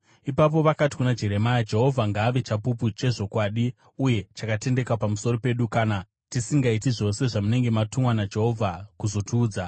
Ipapo vakati kuna Jeremia, “Jehovha ngaave chapupu chezvokwadi uye chakatendeka pamusoro pedu kana tisingaiti zvose zvamunenge matumwa naJehovha kuzotiudza.